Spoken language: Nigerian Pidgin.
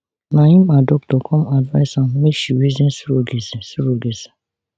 na im her doctor come advice am make she reason surrogacy surrogacy